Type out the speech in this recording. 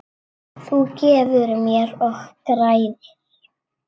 Þú gefur mér og græðir.